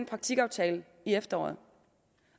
praktikaftalen i efteråret